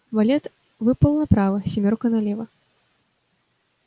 валет выпал направо семёрка налево